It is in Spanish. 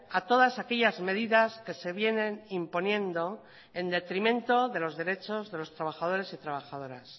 a todas aquellas medidas que se vienen imponiendo en detrimento de los derechos de los trabajadores y trabajadoras